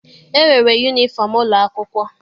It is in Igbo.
E nwere yunifọm ụlọ akwụkwọ.